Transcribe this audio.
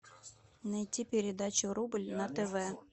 найти передачу рубль на тв